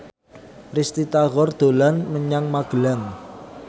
Risty Tagor dolan menyang Magelang